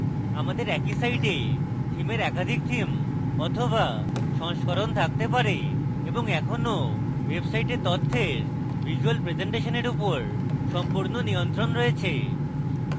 আমাদের একই site থীমের একাধিক theme বা সংস্করণ থাকতে পারে এবং এখনো ওয়েবসাইটে তথ্যের ভিজ্যুয়াল প্রেসেন্টেশনের উপর সম্পূর্ণ নিয়ন্ত্রণ রয়েছে